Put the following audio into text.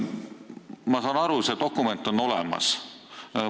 Ma saan aru, et see dokument on olemas.